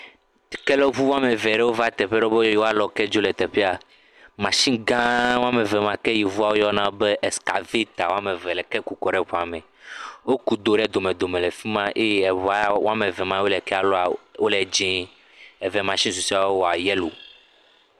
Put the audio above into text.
Kelɔŋu woame ve ɖewo va teƒe ɖewo a teƒe ɖewo be yewolɔ ke. Masini gã ma wɔme ve ma ke yevuawo yɔna be scavɛta le ke ku kɔɖe eŋua ɖe me. Woku do ɖe domedome le fi ma eye eŋua wɔme ve ma wole ke lɔ wole dzie. Eve masini susɔewo le yelo.